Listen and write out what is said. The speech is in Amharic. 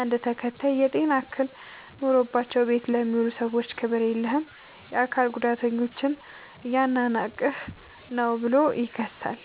አንድ ተከታይ "የጤና እክል ኖሮባቸው ቤት ለሚውሉ ሰዎች ክብር የለህም! የአካል ጉዳተኞችን እያናናቅህ ነው ብሎ ይከሳል።